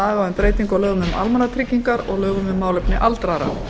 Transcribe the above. lögum um almannatryggingar og lögum um málefni aldraðra